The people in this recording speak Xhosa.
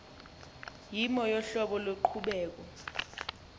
yimo yohlobo loqhubeko